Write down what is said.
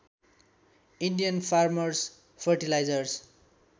Indian farmers fertilizers